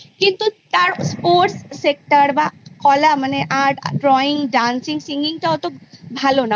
কিন্তু তার Sports Sector বা কলা মানে Art Drawing Dancing Singing টা অত ভালো না